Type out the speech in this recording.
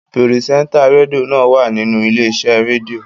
Pirisenta redio naa wa ninu ile-ise redio